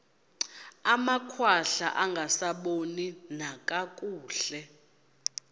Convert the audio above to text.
amakhwahla angasaboni nakakuhle